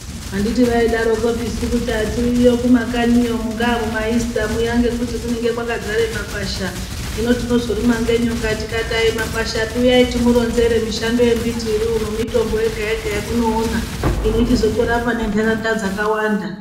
Handiti vaidaro kopisi kuti hatiuyiyo kumakanyi iyo mungavo maitsamuya ngekuti kunenge kwakazara makwasha, zvino tinozorumwa ngenyoka tikati makwasha api uyayi timuronzere mishando yembiti iriuno nemitombo yega yega yamunoona inochizotora pane ntaraunda dzakawanda.